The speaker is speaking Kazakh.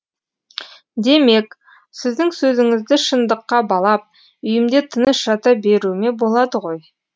демек сіздің сөзіңізді шындыққа балап үйімде тыныш жата беруіме болады ғой